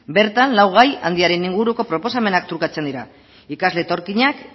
bertan lau gai handiaren inguruko proposamenak trukatzen dira ikasle etorkinak